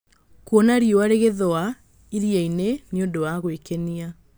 Kuona riũa rĩgĩthũa iria-inĩ nĩ ũndũ wa gwĩkenia.